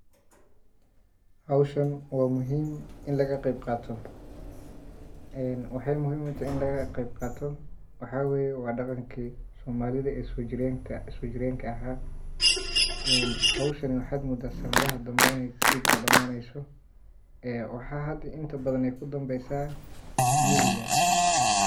Haawshan wa muhiim in lagaqeeyb qaato waxey muhiim utahay in lagaqeyb qaato waxa weye wa daqanka somalidha ee sojireenka aha hoowshan waxadh moodha sanadhahan dhambe iney sidhawadamaaneyso waxa hadha inta badhan ey kudhambeysa miiyga